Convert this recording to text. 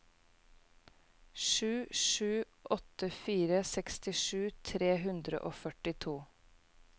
sju sju åtte fire sekstisju tre hundre og førtito